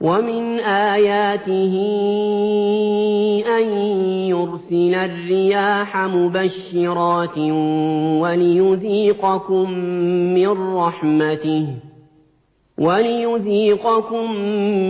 وَمِنْ آيَاتِهِ أَن يُرْسِلَ الرِّيَاحَ مُبَشِّرَاتٍ وَلِيُذِيقَكُم